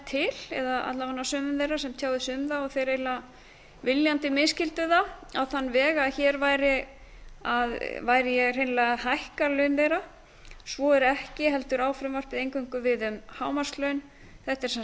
til eða alla vega sumum þeirra sem tjáðu sig um það og þeir eiginlega viljandi misskildu það á þann veg að hér væri ég hreinlega að hækka laun þeirra svo er ekki heldur á frumvarpið eingöngu við um hámarkslaun þetta er sem